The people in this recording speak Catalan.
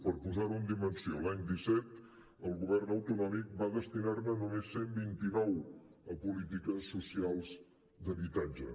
per posar ho en dimensió l’any disset el govern autonòmic va destinar ne només cent i vint nou a polítiques socials d’habitatge